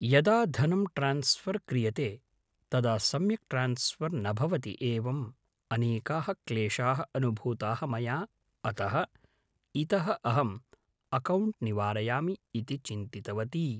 यदा धनं ट्रान्स्फर् क्रियते तदा सम्यक् ट्रान्स्फर् न भवति एवम्‌ अनेकाः क्लेशाः अनुभूताः मया अतः इतः अहम्‌ अकौण्ट् निवारयामि इति चिन्तितवती